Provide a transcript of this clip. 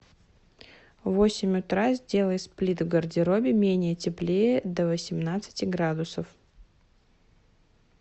в восемь утра сделай сплит в гардеробе менее теплее до восемнадцати градусов